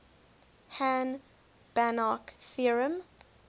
hahn banach theorem